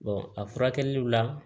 a furakɛliw la